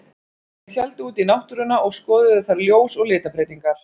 Þeir héldu út í náttúruna og skoðuðu þar ljós og litabreytingar.